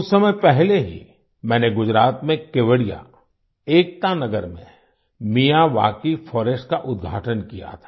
कुछ समय पहले ही मैंने गुजरात में केवड़िया एकता नगर में मियावाकी फॉरेस्ट का उद्घाटन किया था